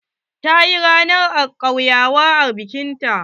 Ta yi ranan kauyawa a bikin ta.